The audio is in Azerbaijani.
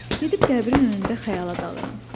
Gedib qəbrinin önündə xəyala dalıram.